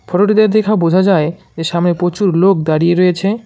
ফটোটিতে দেখা বোঝা যায় যে সামনে প্রচুর লোক দাঁড়িয়ে রয়েছে।